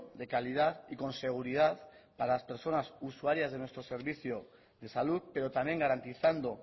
de calidad y con seguridad para las personas usuarias de nuestro servicio de salud pero también garantizando